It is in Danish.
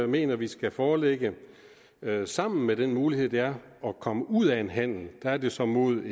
mener vi skal foreligge sammen med den mulighed det er at komme ud af en handel der er det så mod